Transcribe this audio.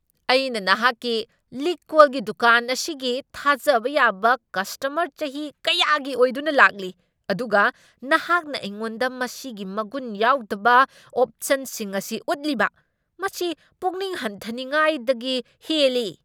ꯑꯩꯅ ꯅꯍꯥꯛꯀꯤ ꯂꯤꯛ ꯀꯣꯜꯒꯤ ꯗꯨꯀꯥꯟ ꯑꯁꯤꯒꯤ ꯊꯥꯖꯕ ꯌꯥꯕ ꯀꯁꯇꯃꯔ ꯆꯍꯤ ꯀꯌꯥꯒꯤ ꯑꯣꯏꯗꯨꯅ ꯂꯥꯛꯂꯤ, ꯑꯗꯨꯒ ꯅꯍꯥꯛꯅ ꯑꯩꯉꯣꯟꯗ ꯃꯁꯤꯒꯤ ꯃꯒꯨꯟ ꯌꯥꯎꯗꯕ ꯑꯣꯞꯁꯟꯁꯤꯡ ꯑꯁꯤ ꯎꯠꯂꯤꯕ? ꯃꯁꯤ ꯄꯨꯛꯅꯤꯡ ꯍꯟꯊꯅꯤꯉꯥꯏꯗꯒꯤ ꯍꯦꯜꯂꯤ꯫